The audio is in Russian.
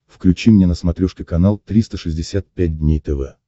включи мне на смотрешке канал триста шестьдесят пять дней тв